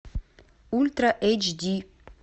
ультра эйч ди